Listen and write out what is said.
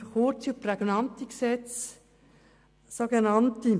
Ich bin für kurze und prägnante Gesetze.